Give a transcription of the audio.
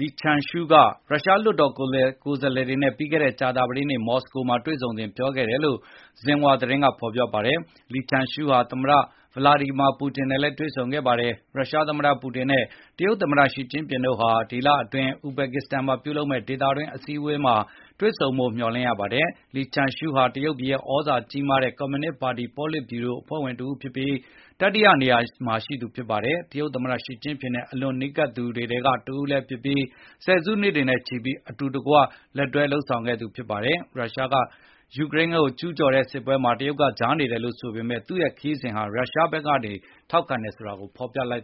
Li Zhanshu က ရုရှား လွှတ်တော်ကိုယ်စားလှယ်တွေနဲ့ ပြီးခဲ့တဲ့ ကြာသပတေးနေ့ မော်စကိုမှာ တွေ့ဆုံစဉ် ပြောဆိုခဲ့တယ်လို့ Xinhua သတင်းက ဖေါ်ပြပါတယ်။ Li Zhanshu ဟာ သမ္မတ Vladimir Putin နဲ့လည်းတွေ့ဆုံခဲ့ပါတယ်။ ရုရှားသမ္မတ ပူတင်နဲ့ တရုတ်သမ္မတ Xi Jinping တို့ဟာ ဒီလအတွင်း ဥဇဘက်ကစ္စတန်မှာ ပြုလုပ်မယ့် ဒေသတွင်း အစည်းအဝေးမှာ တွေဆုံမယ်လို့ မျှော်လင့်ရပါတယ်။ Li Zhanshu ဟာ တရုတ်ပြည်ရဲ့ သြဇာအာဏာကြီးမားတဲ့ ကွန်မြူနစ်ပါတီ ပေါလစ်ဗျူရို အဖွဲ့ဝင်တဦးဖြစ်ပြီး၊ တတိယနေရာမှာ ရှိသူဖြစ်ပါတယ်။ တရုတ်သမ္မတ Xi Jinping နဲ့ အလွန်နီးကပ်သူတွေထဲကတဦးလည်းဖြစ်ပြီး၊ ဆယ်စုနှစ်တွေနဲ့ချီပြီးအတူတကွလက်တွဲလုပ်ခဲ့သူတွေ ဖြစ်ပါတယ်။ ယူကရိန်း- ရုရှားစစ်ပွဲမှာ တရုတ်က ကြားနေ ရပ်တည်တယ်လို့ပြောဆိုထားပေမယ့် သူ့ရဲ့ ခရီးစဉ်ဟာ တရုတ်က ရုရှားဘက်ကနေ ထောက်ခံအားပေးတယ် ဆိုတာကို ဖေါ်ပြလိုက်